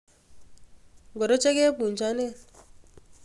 Ngoro chekebunchonen?